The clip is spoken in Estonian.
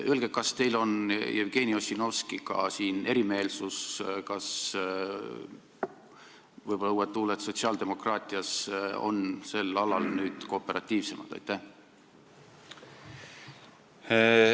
Öelge, kas teil on siin erimeelsus Jevgeni Ossinovskiga – võib-olla on uued tuuled sotsiaaldemokraatias sel alal kooperatiivsemad?